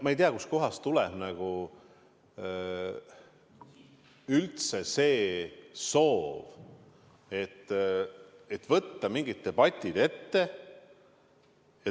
Ma ei tea, kust kohast tuleb üldse see soov võtta mingid debatid ette.